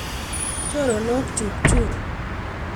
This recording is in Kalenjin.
Choronok chuk chun.